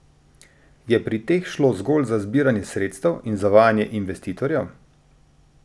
Je pri teh šlo zgolj za zbiranje sredstev in zavajanje investitorjev?